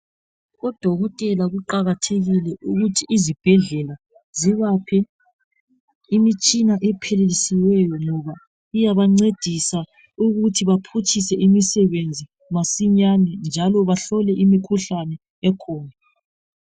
Odokotela kuqakathekile ukuthi izibhedlela zibaphe imitshina ephilisiweyo ngoba iyabancedisa ukuthi baphutshise imisebenzi masinyane njalo bahlole imikhuhlane ekhona.